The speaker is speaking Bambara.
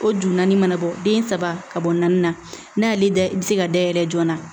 O ju naani mana bɔ den saba ka bɔ naani na n'a y'ale da i bi se ka dayɛlɛ joona